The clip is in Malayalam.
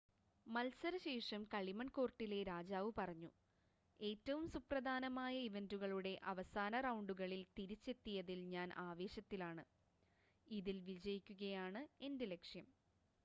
"മത്സര ശേഷം കളിമൺ കോർട്ടിലെ രാജാവ് പറഞ്ഞു "ഏറ്റവും സുപ്രധാന ഇവന്റുകളുടെ അവസാന റൗണ്ടുകളിൽ തിരിച്ചെത്തിയതിൽ ഞാൻ ആവേശത്തിലാണ്. ഇതിൽ വിജയിക്കുകയാണ് എന്റെ ലക്ഷ്യം.""